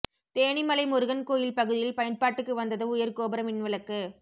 தேனிமலை முருகன் கோயில் பகுதியில் பயன்பாட்டுக்கு வந்தது உயா் கோபுர மின் விளக்கு